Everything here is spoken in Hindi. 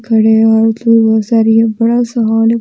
बड़े और बहुत सारे बड़ा सा हॉल --